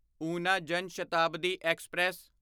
ਉਨਾ ਜਨ ਸ਼ਤਾਬਦੀ ਐਕਸਪ੍ਰੈਸ